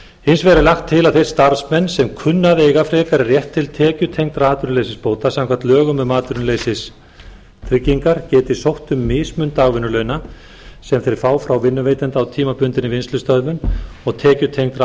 hins vegar er lagt til að þeir starfsmenn sem kunna að eiga frekari rétt til tekjutengdra atvinnuleysisbóta samkvæmt lögum um atvinnuleysistryggingar geti sótt um mismun dagvinnulauna sem þeir fá frá vinnuveitanda í tímabundinni vinnslustöðvun og tekjutengdra